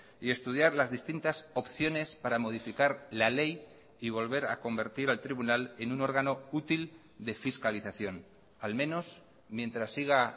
y estudiar las distintas opciones para modificar la ley y volver a convertir al tribunal en un órgano útil de fiscalización al menos mientras siga